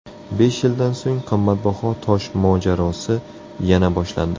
Besh yildan so‘ng qimmatbaho tosh mojarosi yana boshlandi.